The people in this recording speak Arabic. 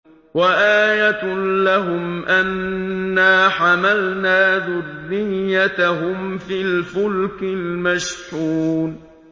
وَآيَةٌ لَّهُمْ أَنَّا حَمَلْنَا ذُرِّيَّتَهُمْ فِي الْفُلْكِ الْمَشْحُونِ